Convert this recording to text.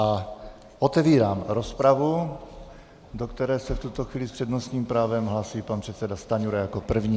A otevírám rozpravu, do které se v tuto chvíli s přednostním právem hlásí pan předseda Stanjura jako první.